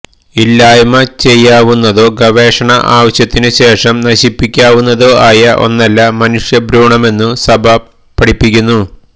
ഇല്ലായ്മ ചെയ്യാവുന്നതോ ഗവേഷണ ആവശ്യത്തിനുശേഷം നശിപ്പിക്കാവുന്നതോ ആയ ഒന്നല്ല മനുഷ്യഭ്രൂണമെന്നു സഭ പഠിപ്പിക്കുന്നു